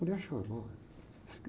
Mulher é chorona.